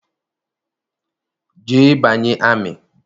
Jee banye amị!